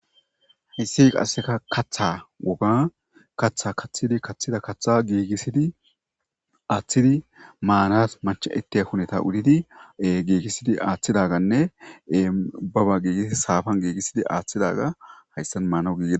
hayissi qasseka katha woga kaththa kaththidi kaththida katha giigissidi aaththidi maanas machaitte huneta udidi giigissidi aaththidaganne ubaba giigisi saafan giigissidi aaththidaga hayssan maana gi